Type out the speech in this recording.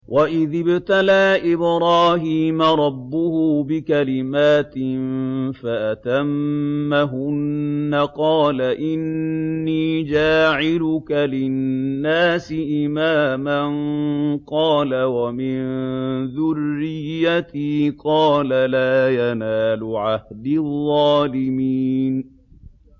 ۞ وَإِذِ ابْتَلَىٰ إِبْرَاهِيمَ رَبُّهُ بِكَلِمَاتٍ فَأَتَمَّهُنَّ ۖ قَالَ إِنِّي جَاعِلُكَ لِلنَّاسِ إِمَامًا ۖ قَالَ وَمِن ذُرِّيَّتِي ۖ قَالَ لَا يَنَالُ عَهْدِي الظَّالِمِينَ